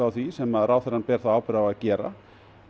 á því sem ráðherrann ber þá ábyrgð á að gera